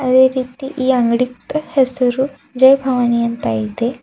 ಅದೇ ರೀತಿ ಈ ಅಂಗಡಿಕ್ತಾ ಹೆಸರು ಜೈ ಭವಾನಿ ಅಂತ ಇದೆ.